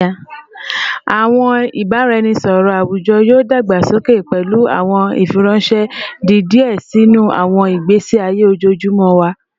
Awọn ibaraẹnisọrọ awujọ yoo dagbasoke, pẹlu awọn ifiranṣẹ di diẹ sii sinu awọn igbesi aye ojoojumọ wa